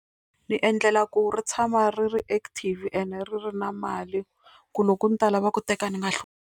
Ni endlela ku ri tshama ri ri active ene ri ri na mali ku loko ni ta lava ku teka ni nga .